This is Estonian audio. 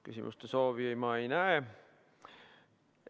Küsimuse soovi ma ei näe.